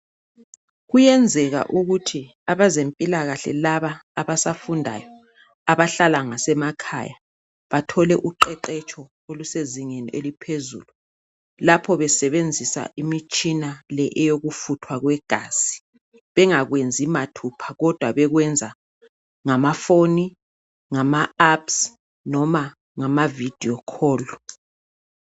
Kuyenzeka ukuthi abezempilakahle laba abasafundayo abahlala ngasemakhaya bathole uqeqetsho olusezingini eliphezulu lapho besebenzisa imitshina le eyokufutwa kwegazi, bengakwenzi mathupha kodwa bekwenza ngamafoni, ngama apps noma ngama video call.